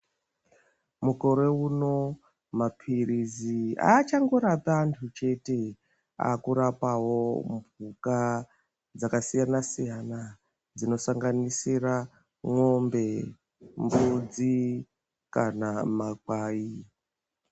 Mukore uno mapirizi aachangorapi antu chete akurapawo mhuka dzakasiyana siyana dzinosanganisira mwombe mbudzi kana makwai.